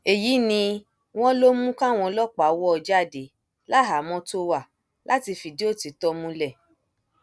èyí ni wọn ló mú káwọn ọlọpàá wò ó jáde láhàámọ tó wá láti fìdí òtítọ múlẹ